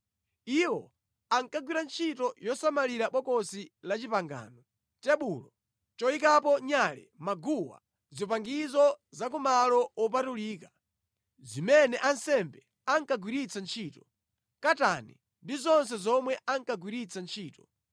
Iwo ankagwira ntchito yosamalira Bokosi la Chipangano, tebulo, choyikapo nyale, maguwa, zipangizo za kumalo wopatulika zimene ansembe ankagwiritsa ntchito, katani, ndi zonse zomwe ankagwiritsa ntchito.